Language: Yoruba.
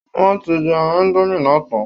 Wọ́n ti jẹ ẹran indomie náà tán